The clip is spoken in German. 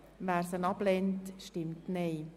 Wer diese ablehnt, stimmt Nein.